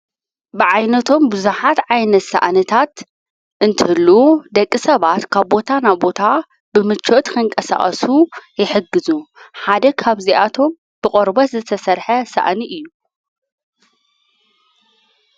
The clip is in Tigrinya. ብዓይነቶም ብዙኃት ዓይነት ሰኣንታት እንትሉ ደቂ ሰባት ካብ ቦታ ናብ ቦታ ብምችወት ከንቀሣኣሱ የሕግዙ ሓደ ኻብእዚኣቶም ብቖርበት ዘተሠርሐ ሰእኒ እዩ።